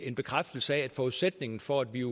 en bekræftelse af at forudsætningen for at vi